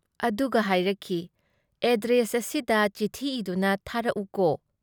ꯑꯗꯨꯒ ꯍꯥꯏꯔꯛꯈꯤ- "ꯑꯦꯗ꯭ꯔꯦꯁ ꯑꯁꯤꯗ ꯆꯤꯊꯤ ꯏꯗꯨꯅ ꯊꯥꯔꯛꯎꯀꯣ꯫